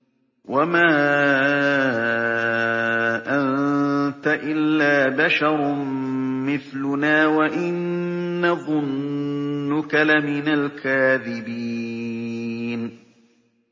وَمَا أَنتَ إِلَّا بَشَرٌ مِّثْلُنَا وَإِن نَّظُنُّكَ لَمِنَ الْكَاذِبِينَ